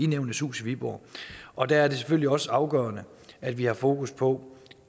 nævnenes hus i viborg og der er det selvfølgelig også afgørende at vi har fokus på